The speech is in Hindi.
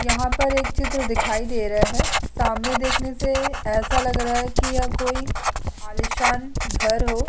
यहाँ पर एक चित्र दिखाई दे रहा है । सामने देखने से ऐसा लग रहा है की य कोई आली सान घर हो।